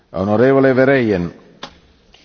Herr Präsident, liebe Kolleginnen und Kollegen!